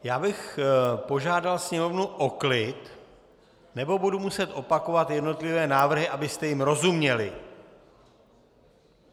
Já bych požádal sněmovnu o klid nebo budu muset opakovat jednotlivé návrhy, abyste jim rozuměli.